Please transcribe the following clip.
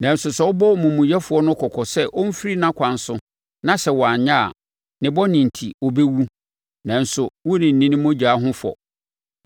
Nanso sɛ wobɔ omumuyɛfoɔ no kɔkɔ sɛ ɔmfiri nʼakwan so na sɛ wanyɛ a, ne bɔne enti, ɔbɛwu, nanso worenni ne mogya ho fɔ.